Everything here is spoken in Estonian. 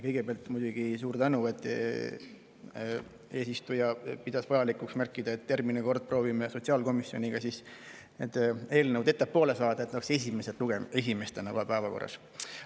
Kõigepealt muidugi suur tänu selle eest, et eesistuja pidas vajalikuks märkida, et järgmine kord proovime sotsiaalkomisjoniga need eelnõud ettepoole saada, et need oleksid kohe esimestena päevakorras.